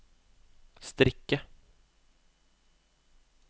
strikke